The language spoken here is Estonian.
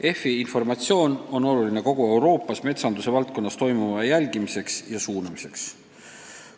EFI informatsioon on oluline kogu Euroopas metsanduse valdkonnas toimuva jälgimiseks ja suunamiseks.